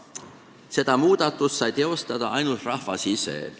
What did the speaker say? Seda muudatust sai teostada ainult rahvas ise.